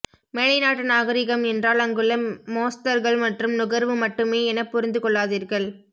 மேலைநாட்டு நாகரீகம் என்றால் அங்குள்ள மோஸ்தர்கள் மற்றும் நுகர்வு மட்டுமே என புரிந்துகொள்ளாதீர்கள்